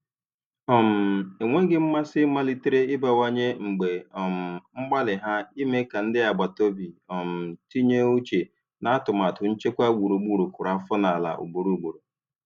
um Enweghị mmasị malitere ịbawanye mgbe um mgbalị ha ime ka ndị agbataobi um tinye uche n'atụmatụ nchekwa gburugburu kụrụ afọ n'ala ugboro ugboro.